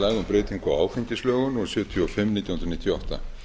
áfengislögum númer sjötíu og fimm nítján hundruð níutíu og átta